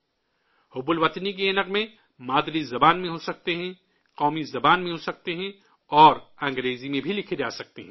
حب الوطنی کے یہ گیت مادری زبان میں ہو سکتے ہیں، قومی زبان میں ہو سکتے ہیں، اور انگریزی میں بھی لکھے جا سکتے ہیں